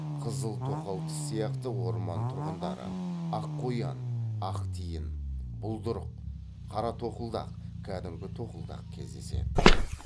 қызыл тоқалтіс сияқты орман тұрғындары аққоян ақтиін бұлдырық қаратоқылдақ кәдімгі тоқылдақ кездеседі